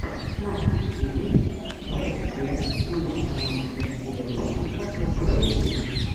на ютюбе вэбдев с нуля канал алексея лущенко выступление